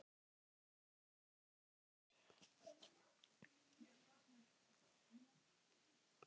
Ég grét ekki.